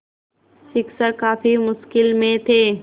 शिक्षक काफ़ी मुश्किल में थे